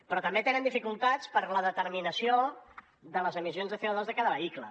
però també tenen dificultats per la determinació de les emissions de covehicle